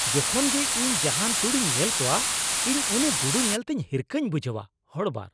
ᱡᱚᱠᱷᱚᱱ ᱜᱮ ᱤᱧ ᱡᱟᱦᱟᱱ ᱛᱩᱲᱤᱧ ᱧᱮᱞ ᱠᱚᱣᱟ, ᱤᱧ ᱩᱱᱤ ᱜᱩᱰᱩ ᱧᱮᱞᱛᱮ ᱦᱤᱨᱠᱟᱹᱧ ᱵᱩᱡᱷᱟᱹᱣᱟ ᱾ (ᱦᱚᱲ ᱒)